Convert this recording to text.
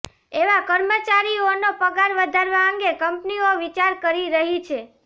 એવા કર્મચારીઓનો પગાર વધારવા અંગે કંપનીઓ વિચાર કરી રહી છે